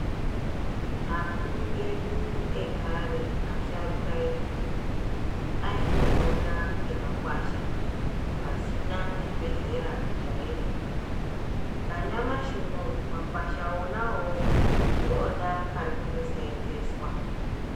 Akuru edu ekare, asharuka edu ayindopona ngemakwasha pasina chibhedhlera chaendwa. Nanyamashi unowu makwasha ona wowo ndiwona ari kundoseenzeswa.